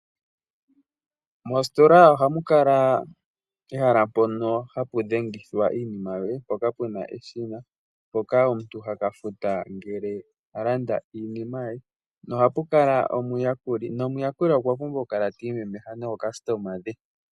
Mositola ohamu kala ehala mpono hapu dhengithwa iinima yoye mpoka pena eshina mpoka omuntu ha ka futa ngele a landa iinima ye noha pu kala omuyakuli nomuyakuli okwa pumbwa okukala ti imemeha nookasitoma dhe.